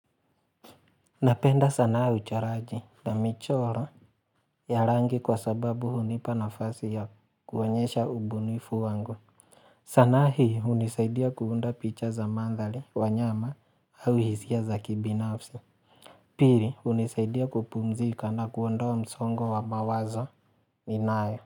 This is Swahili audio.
Napenda sanaa uchoraji na michoro ya rangi kwa sababu hunipa nafasi ya kuonyesha ubunifu wangu. Sanaa hii hunisaidia kuunda picha za mandhari, wanyama au hisia za kibinafsi. Pili hunisaidia kupumzika na kuondoa msongo wa mawazo ninayo.